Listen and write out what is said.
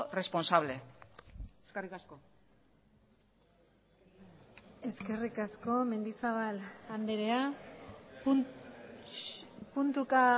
responsable eskerrik asko eskerrik asko mendizabal andrea puntuka